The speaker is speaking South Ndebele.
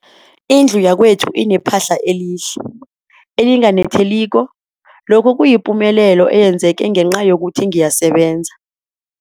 Indlu yakwethu inephahla elihle, elinganetheliko, lokhu kuyipumelelo eyenzeke ngenca yokuthi ngiyasebenza.